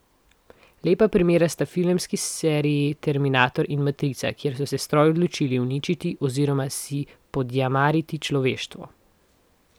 Lepa primera sta filmski seriji Terminator in Matrica, kjer so se stroji odločili uničiti oziroma si podjarmiti človeštvo.